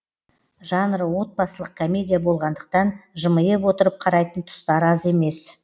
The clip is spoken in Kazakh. жанры отбасылық комедия болғандықтан жымиып отырып қарайтын тұстар аз емес